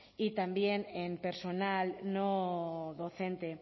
y también en personal no docente